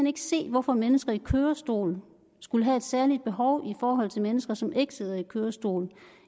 ikke se hvorfor mennesker i kørestol skulle have et særligt behov i forhold til mennesker som ikke sidder i kørestol